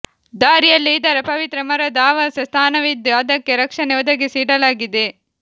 ದಾರಿಯಲ್ಲೇ ಇದರ ಪವಿತ್ರ ಮರದ ಆವಾಸ ಸ್ಥಾನವಿದ್ದು ಅದಕ್ಕೆ ರಕ್ಷಣೆ ಒದಗಿಸಿ ಇಡಲಾಗಿದೆ